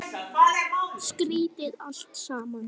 Má ekki vekja mömmu.